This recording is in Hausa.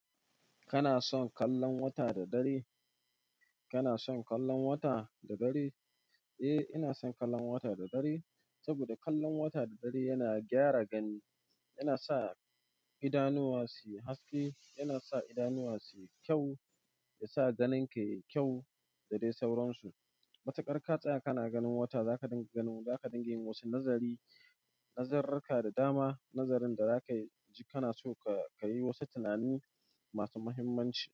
Kana son kallon wata da dare? Kana son kallon wata da dare? Eh, ina son kallon wata da dare saboda kallon wata da dare yana gyara gani, yana sa idanuwa su yi haske, yana sa idanuwa su yi kyau, ya sa ganin ka yayi kyau da dai sauransu. Matuƙar ka tsaya kana ganin wata za ka dinga ganin za ka dinga yi wasu nazari, nazararka da dama, nazarin da za ka yi. Kana so ka yi wasu tunani masu muhimmanci.